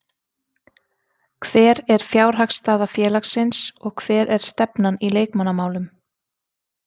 Hver er fjárhagsstaða félagsins og hver er stefnan í leikmannamálum?